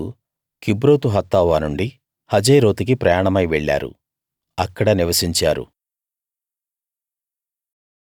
ప్రజలు Kibroth Hattaavah నుండి హజేరోతుకి ప్రయాణమై వెళ్ళారు అక్కడ నివసించారు